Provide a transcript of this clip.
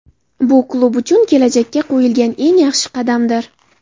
Bu klub uchun kelajakka qo‘yiladigan eng yaxshi qadamdir.